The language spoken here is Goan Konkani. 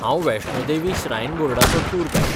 हांव वैष्णो देवी श्रायन बोर्डाचो टूर गायड.